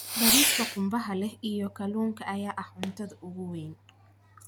Bariiska qumbaha leh iyio kalluunka ayaa ah cuntada ugu weyn.